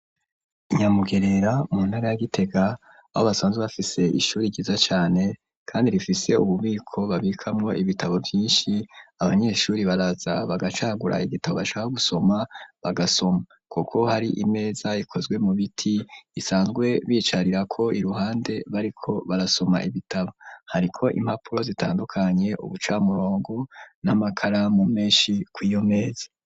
Inyamugerera mu ntare ya Gitega aho basanzwe bafise ishuri ryiza cane kandi rifise ububiko babikamwo ibitabo byinshi abanyeshuri baraza bagacagura igitabo bashaka gusoma bagasoma kuko hari imeza ikozwe mu biti isanzwe bicarira ko iruhande bariko barasoma ibitabo hariko impapuro zitandukanye ubucamurongo n'amakara mu menshi kwiyo meza.